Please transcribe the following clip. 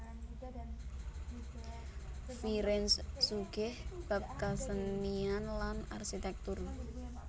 Firenze sugih bab kasenian lan arsitektur